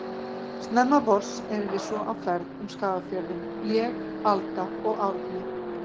Snemma vors erum við svo á ferð um Skagafjörðinn, ég, Alda og Árni.